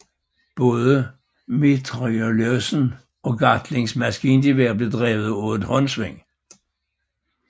Både mitrailleusen og Gatlings maskingevær blev drevet af et håndsving